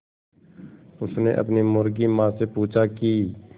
उसने अपनी मुर्गी माँ से पूछा की